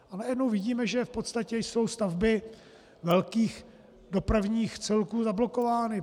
A najednou vidíme, že v podstatě jsou stavby velkých dopravních celků zablokovány.